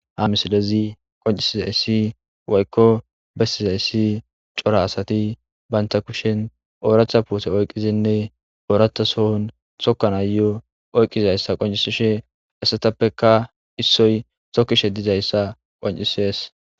ha misilezi qoncisizayssi waykko bestizayssi cora asati baynta kushen ooratha puute oyqqizinne ooratha sohun tokkan ayo oyqqizayssa qoncisishe essatappeka issoy sokkishe dizayssa qoncisees